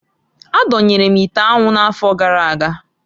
Adonyere m ite anwu n'afọ gara aga.